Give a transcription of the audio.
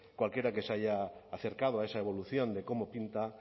cualquiera que se haya acercado a esa evolución de cómo pinta